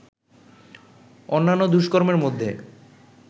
অন্যান্য দুষ্কর্মের মধ্যে